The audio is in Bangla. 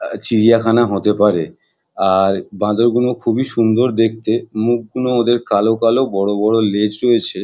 আ- চিড়িয়াখানা হতে পারে আর বাঁদর গুলো খুবই সুন্দর দেখতে মুখ গুলো ওদের কালো কালো বড় বড় লেজ রয়েছে--